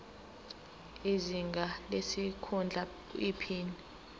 izinga lesikhundla iphini